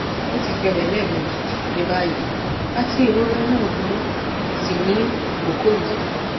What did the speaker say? o ti ṣẹlẹ lẹẹmeji ni bayi ati irora naa buru si ni koko yii